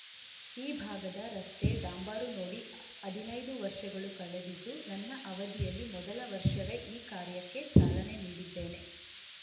ಈ ಭಾಗದ ರಸ್ತೆ ಡಾಂಬರು ನೋಡಿ ಹದಿನೈದು ವರ್ಷಗಳು ಕಳೆದಿದ್ದು ನನ್ನ ಅವಧಿಯಲ್ಲಿ ಮೊದಲ ವರ್ಷವೇ ಈ ಕಾರ್ಯಕ್ಕೆ ಚಾಲನೆ ನೀಡಿದ್ದೇನೆ